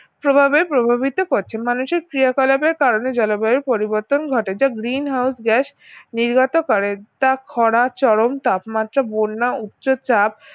প্রভাবে প্রভাবিত করছে মানুষের ক্রিয়াকলাপ এর কারণে জলবায়ুর পরিবর্তন ঘটে যা green house gas নির্গত করে তা ক্ষরা চরম তাপমাত্রা বন্যা উচ্চচাপ